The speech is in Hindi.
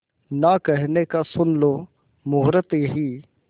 ना कहने का सुन लो मुहूर्त यही